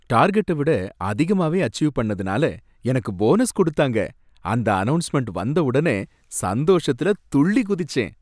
டார்கெட்ட விட அதிகமாவே அசீவ் பண்ணதுனால எனக்கு போனஸ் கொடுத்தாங்க, அந்த அனவுன்ஸ்மென்ட் வந்த உடனே சந்தோஷத்துல துள்ளி குதிச்சேன்.